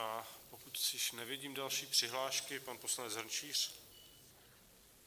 A pokud již nevidím další přihlášky - pan poslanec Hrnčíř.